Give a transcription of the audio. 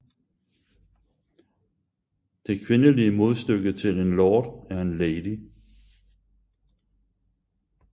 Det kvindelige modstykke til en lord er en lady